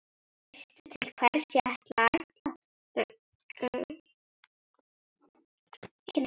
Veistu til hvers ég ætlast?